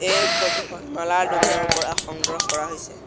এই ফটো খন মালাৰ দোকানৰ পৰা সংগ্ৰহ কৰা হৈছে।